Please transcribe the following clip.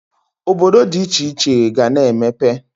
Obodo dị iche iche ga-ana emepe.